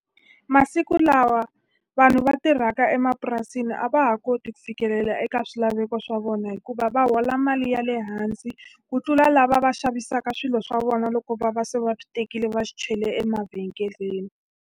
Masiku lawa vanhu va tirhaka emapurasini a va ha koti ku fikelela eka swilaveko swa vona hikuva va hola mali ya le hansi, ku tlula lava va xavisaka swilo swa vona loko va va se va swi tekile va chele emavhengeleni.